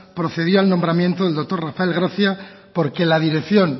procedía al nombramiento del doctor rafael gracia porque la dirección